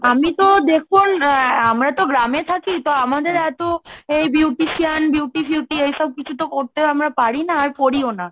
আমি তো দেখুন আহ আমরা তো গ্রামে থাকি, তো আমাদের এতো এই beautician, Beauty ফিউটি এইসব কিছু তো করতেও আমরা পারি না, আর করিও না।